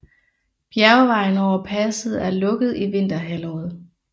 Bjergvejen over passet er lukket i vinterhalvåret